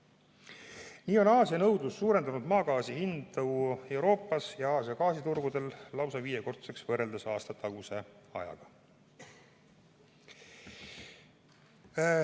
Nii on Aasia nõudlus suurendanud maagaasi hinda Euroopas ja Aasia gaasiturgudel lausa viiekordseks, võrreldes aastataguse ajaga.